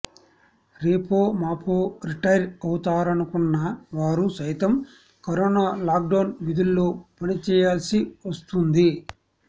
రేపో మాపో రిటైర్ అవుతారనుకున్న వారు సైతం కరోనా లాక్ డౌన్ విధుల్లో పని చెయ్యాల్సి వస్తుంది